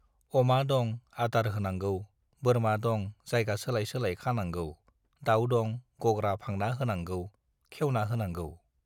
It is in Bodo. अमा दं - आदार होनांगौ, बोरमा दं - जायगा सोलाय सोलाय खानांगौ, दाउ दं - गग्रा फांना होनांगौ, खेउना होनांगौ।